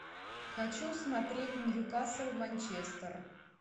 хочу смотреть ньюкасл манчестер